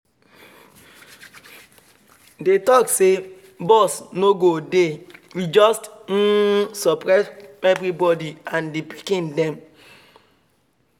dem talk say bus no go dey e just um surprise everybody and the pikiin dem